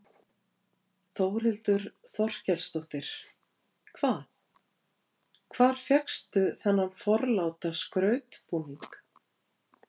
Þórhildur Þorkelsdóttir: Hvað, hvar fékkstu þennan forláta skrautbúning?